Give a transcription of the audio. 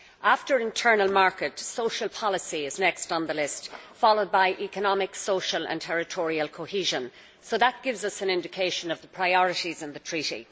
After the internal market, social policy is the next on the list, followed by economic, social and territorial cohesion. That gives an indication of the priorities in the treaty.